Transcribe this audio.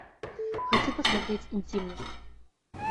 хочу посмотреть интимность